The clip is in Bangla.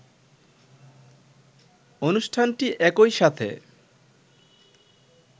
অনুষ্ঠানটি একই সাথে